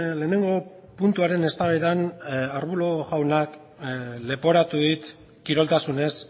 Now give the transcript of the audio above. lehenengo puntuaren eztabaidan arbulo jaunak leporatu dit kiroltasunez